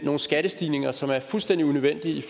nogle skattestigninger som er fuldstændig unødvendige i